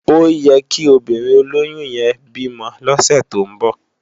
Óyèkí óbìrín ólóyùn yèn bi mò lòsè tó n bò